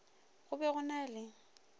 go be go na le